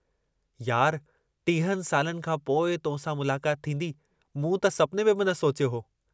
यार टीहनि सालनि खांपोइ तोसां मुलाकात थींदी मूं त सपने में बि न सोचियो हो।